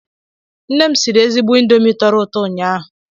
Nne m siri ezigbo Indomi tọrọ ụto ụnyaahụ